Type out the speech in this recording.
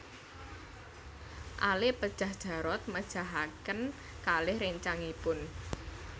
Ale pejah Jarot mejahaken kalih réncangipun